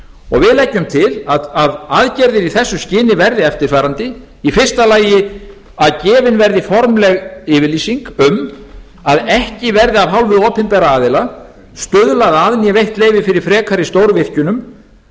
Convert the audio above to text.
og við leggjum til að aðgerðir í þessu skyni verði eftirfarandi fyrsta að gefin verði formleg yfirlýsing um að ekki verði af hálfu opinberra aðila stuðlað að né veitt leyfi fyrir frekari stórvirkjunum